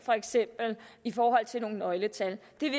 i forhold til nogle nøgletal det